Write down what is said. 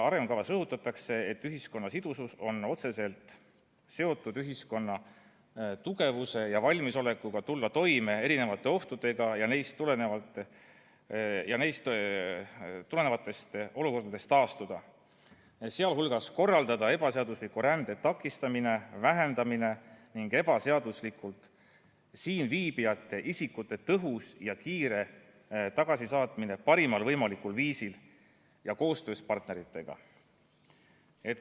Arengukavas rõhutatakse, et ühiskonna sidusus on otseselt seotud ühiskonna tugevusega ja valmisolekuga tulla toime erinevate ohtudega ning neist tulenevatest olukordadest taastuda, sh korraldada ebaseadusliku rände takistamine, vähendamine ning ebaseaduslikult siin viibivate isikute tõhus ja kiire tagasisaatmine parimal võimalikul viisil ja koostöös partneritega.